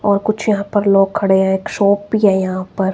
और कुछ यहां पर लोग खड़े हैं एक शॉप भी है यहां पर।